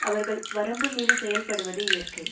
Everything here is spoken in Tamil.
அவர்கள் வரம்புமீறிச் செயல்படுவது இயற்கை